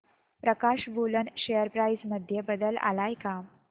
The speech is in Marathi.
प्रकाश वूलन शेअर प्राइस मध्ये बदल आलाय का